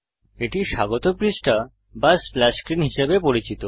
এটি স্বাগত পৃষ্ঠা বা স্প্ল্যাশ স্ক্রীন হিসাবে পরিচিত